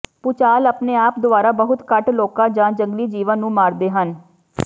ਭੁਚਾਲ ਆਪਣੇ ਆਪ ਦੁਆਰਾ ਬਹੁਤ ਘੱਟ ਲੋਕਾਂ ਜਾਂ ਜੰਗਲੀ ਜੀਵਣ ਨੂੰ ਮਾਰਦੇ ਹਨ